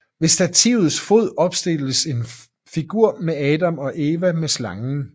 Ved stativets fod opstilles et figur med Adam og Eva med slangen